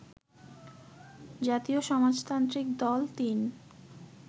জাতীয় সমাজতান্ত্রিক দল ৩